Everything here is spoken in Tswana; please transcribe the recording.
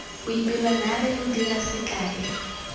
boipelo naare lo dira sekae